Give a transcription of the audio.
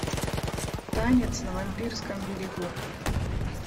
танец на вампирском берегу